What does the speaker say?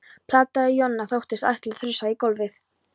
plataði Jonna. þóttist ætla að þrusa í gólfið.